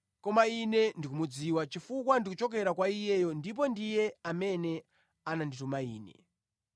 koma Ine ndikumudziwa chifukwa ndichokera kwa Iyeyo ndipo ndiye amene anandituma Ine.”